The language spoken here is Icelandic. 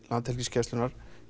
Landhelgisgæslunnar